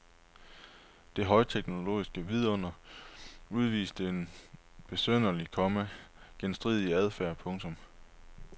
Det højteknologiske vidunder udviste en besynderlig, komma genstridig adfærd. punktum